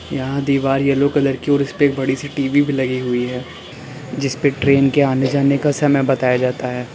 यहां एक दीवार येलो कलर की और इसपे बड़ी सी टी_वी भी लगी हुई है जिसपे ट्रेन के आने जाने का समय बताया जाता है।